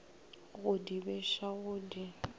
go di beša go di